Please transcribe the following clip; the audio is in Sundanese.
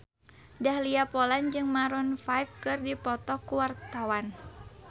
Dahlia Poland jeung Maroon 5 keur dipoto ku wartawan